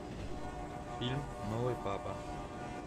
фильм новый папа